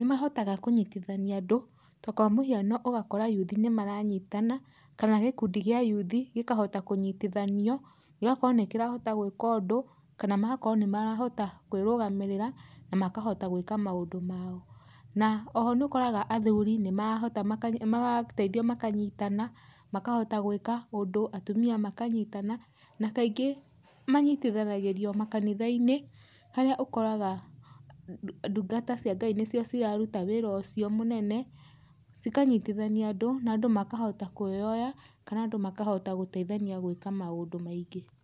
Nĩmahotaga kũnyitithania andũ takwa mũhiano ũgakora yuthi nĩmaranyitana, kana gĩkundĩ kĩa yuthi gĩkahota kũnyitithanio gĩgakorwo nĩkĩrahota gwĩka ũndũ kana magakorwo nĩmarahota kwĩrũgamĩrĩra na makota gwĩka maũndũ mao. Na oho nĩũkoraga athuri nĩmarahota gũteithio makanyitana, makahota gwĩka ũndũ atumia makanyitana, na kaingĩ manyitithagĩrio makanithaĩnĩ harĩa ũkoraga ndũngatacia Ngai nĩcio ciraruta wĩra ũcio mũnene cikanyitithania andũ, na andũ makahota kwĩoya kana andũ makahota gũteithania gwĩka maũndũ maingĩ.